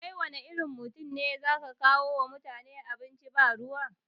Kai wanne irin mutum ne ya zaka kawo wa mutane abinci ba ruwa